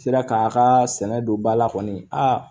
Sera k'a kaa sɛnɛ don ba la kɔni a